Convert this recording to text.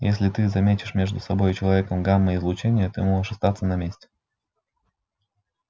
если ты заметишь между собой и человеком гамма-излучение ты можешь остаться на месте